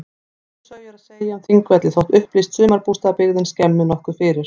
Sömu sögu er að segja um Þingvelli þótt upplýst sumarbústaðabyggðin skemmi nokkuð fyrir.